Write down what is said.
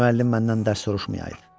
Müəllim məndən dərs soruşmayaydı.